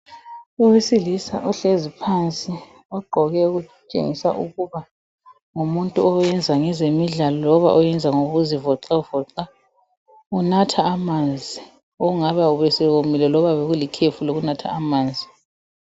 owesilisa ohlezi phansi ogqoke okutshengisa ukuba ngumuntu obeyenza ngezemidlalo loba obeyenza ngokuzivoxavoxa unatha amanzi obengaba esewomile loba bekulikhefu lokunatha amanzi